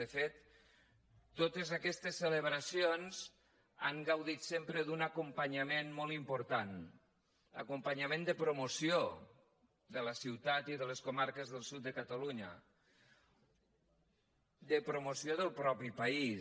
de fet totes aquestes celebracions han gaudit sempre d’un acompanyament molt important acompanyament de promoció de la ciutat i de les comarques del sud de catalunya de promoció del mateix país